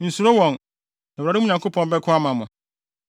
Nsuro wɔn, na Awurade, wo Nyankopɔn, bɛko ama wo.”